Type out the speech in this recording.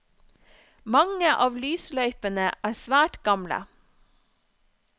Mange av lysløypene er svært gamle.